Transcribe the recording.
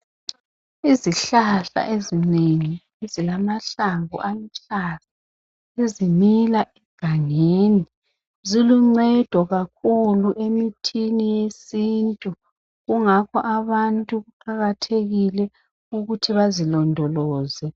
Izihlahla ezinengi ezilamahlamvu aluhlaza ezimila egangeni ziluncedo kakhulu emithini yesintu, kungakho abantu kuqakathekile ukuthi bazilondoloze.